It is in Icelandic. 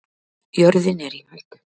Jörðin er í hættu